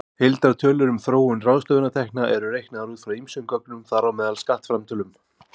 Heildartölur um þróun ráðstöfunartekna eru reiknaðar út frá ýmsum gögnum, þar á meðal skattframtölum.